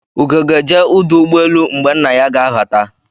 Ugo ga-eje uduugboelu mgbe nna ya ga-abata